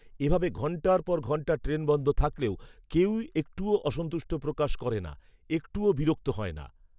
এভাবে ঘন্টার পর ঘন্টা ট্রেন বন্ধ থাকলেও কেউই একটুও অসন্তুষ্ট প্রকাশ করে না, একটুও বিরক্ত হয় না